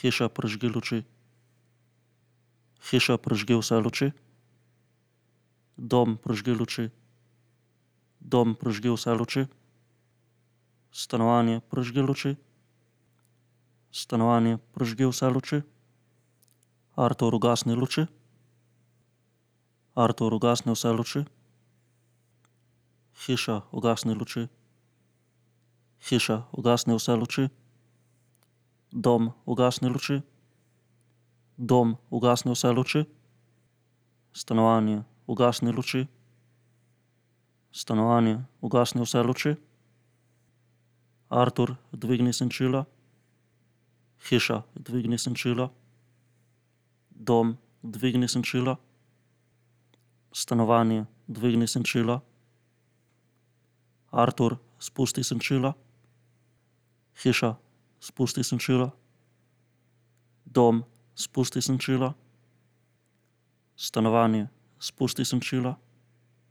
Hiša, prižgi luči. Hiša, prižgi vse luči. Dom, prižgi luči. Dom, prižgi vse luči. Stanovanje, prižgi luči. Stanovanje, prižgi vse luči. Artur, ugasni luči. Artur, ugasni vse luči. Hiša, ugasni luči. Hiša, ugasni vse luči. Dom, ugasni luči. Dom, ugasni vse luči. Stanovanje, ugasni luči. Stanovanje, ugasni vse luči. Artur, dvigni senčila. Hiša, dvigni senčila. Dom, dvigni senčila. Stanovanje, dvigni senčila. Artur, spusti senčila. Hiša, spusti senčila. Dom, spusti senčila. Stanovanje, spusti senčila.